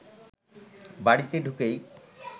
বাড়িতে ঢুকেই